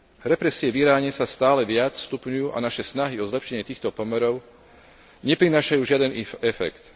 Represie v Iráne sa stále viac stupňujú a naše snahy o zlepšenie týchto pomerov neprinášajú žiadny efekt.